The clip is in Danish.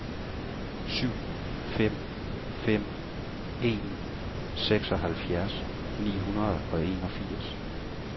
syv fem fem en seksoghalvfjerds ni hundrede og enogfirs